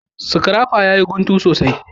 Scrapper ya yi guntu sosai.